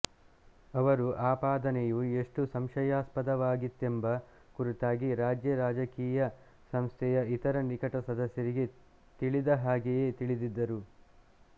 ಅವರು ಆಪಾದನೆಯು ಎಷ್ಟು ಸಂಶಯಾಸ್ಪದವಾಗಿತ್ತೆಂಬ ಕುರಿತಾಗಿ ರಾಜ್ಯ ರಾಜಕೀಯ ಸಂಸ್ಥೆಯ ಇತರ ನಿಕಟ ಸದಸ್ಯರಿಗೆ ತಿಳಿದ ಹಾಗೆಯೇ ತಿಳಿದಿದ್ದರು